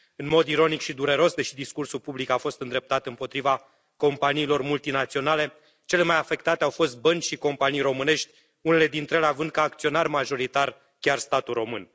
În mod ironic și dureros, deși discursul public a fost îndreptat împotriva companiilor multinaționale, cele mai afectate au fost bănci și companii românești, unele dintre ele având ca acționar majoritar chiar statul român.